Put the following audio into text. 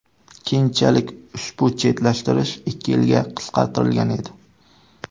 Keyinchalik ushbu chetlashtirish ikki yilga qisqartirilgan edi.